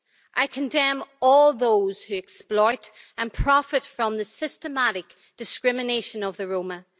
I condemn all those who exploit and profit from the systematic discrimination of the Roma.